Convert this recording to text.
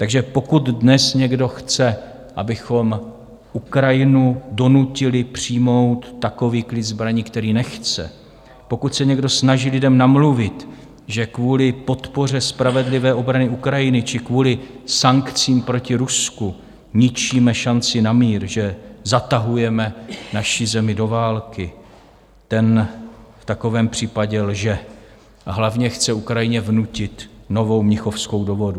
Takže pokud dnes někdo chce, abychom Ukrajinu donutili přijmout takový klid zbraní, který nechce, pokud se někdo snaží lidem namluvit, že kvůli podpoře spravedlivé obrany Ukrajiny či kvůli sankcím proti Rusku ničíme šanci na mír, že zatahujeme naši zemi do války, ten v takovém případě lže a hlavně chce Ukrajině vnutit novou Mnichovskou dohodu.